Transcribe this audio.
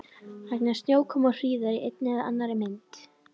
Vegna snjókomu og hríðar í einni eða annarri mynd.